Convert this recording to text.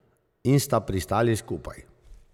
In sta pristali skupaj.